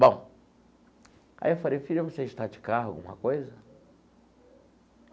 Bom, aí eu falei, filha, você está de carro, alguma coisa?